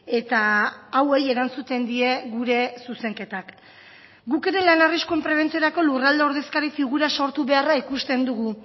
eta hauei erantzuten die gure zuzenketak guk ere lan arriskuen prebentziorako lurralde ordezkari figura sortu beharra ikusten dugu